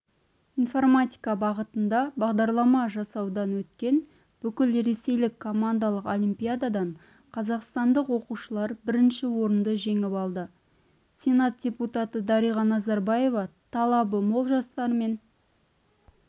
информатика бағытында бағдарлама жасаудан өткен бүкілресейлік командалық олимпиададан қазақстандық оқушылар бірінші орынды жеңіп алды сенат депутаты дариға назарбаева талабы мол жастармен